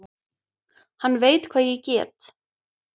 Hann veit hvað ég get.